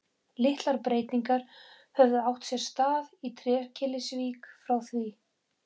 Litlar breytingar höfðu átt sér stað í Trékyllisvík frá því